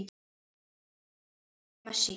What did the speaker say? Allt traust lagt á Messi.